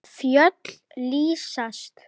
Lilla að Möggu.